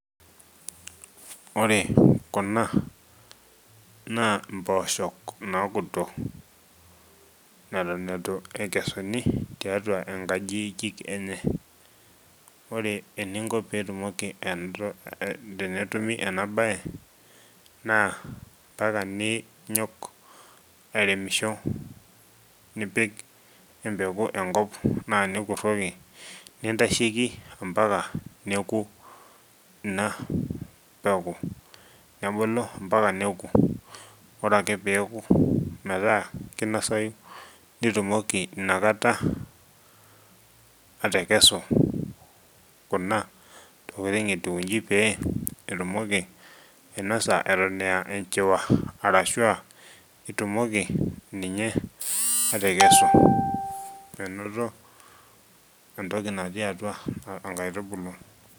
Ore kuna naa imposhok nakuto neton aitu ekesuni tiatua nkajijik enye, ore eninko pitumoki enoto , tenetumi ena bae , naa mpaka ninyok airemisho nepik empeku enkop naa nikiroki nintasheki ompaka neku ina peku. Nebulu mpaka neku, ore ake peku meeta kinosayu nitumoki inakata atekesu kuna tokitin etiu ijin pee itumoki ainosa eton a enchuwa arashu itumoki ninye atekesu anoto entoki naati atua enkaitubulu.